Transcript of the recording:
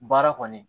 Baara kɔni